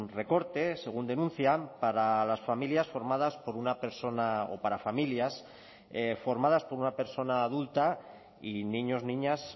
recorte según denuncian para las familias formadas por una persona o para familias formadas por una persona adulta y niños niñas